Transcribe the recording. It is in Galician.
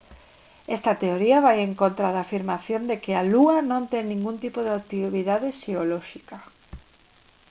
esta teoría vai en contra da afirmación de que a lúa non ten ningún tipo de actividade xeolóxica